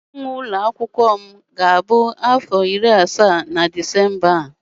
nwoke nwe ụlọ akwụkwọ m ga-abụ afọ iri asaa na Disemba a